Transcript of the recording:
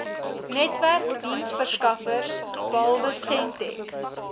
netwerkdiensverskaffers behalwe sentech